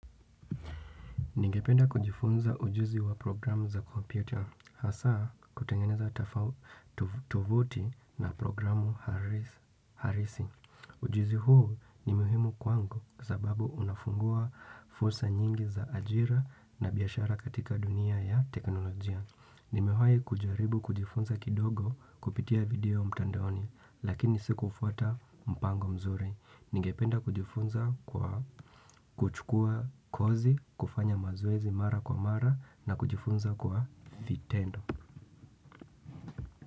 Ningependa kujifunza ujuzi wa programu za computer hasa kutengeneza tuvoti na programu halisi. Ujuzi huu ni muhimu kwangu sababu unafungua fursa nyingi za ajira na biashara katika dunia ya teknolojia. Nimewai kujaribu kujifunza kidogo kupitia video mtandoni lakini siku kufuata mpango mzuri. Ningependa kujifunza kwa kuchukua kozi, kufanya mazoezi mara kwa mara na kujifunza kwa vitendo.